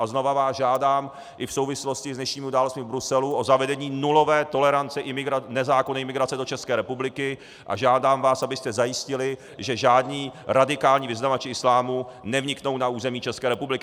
A znovu vás žádám i v souvislosti s dnešními událostmi v Bruselu o zavedení nulové tolerance nezákonné imigrace do České republiky a žádám vás, abyste zajistili, že žádní radikální vyznavači islámu nevniknou na území České republiky.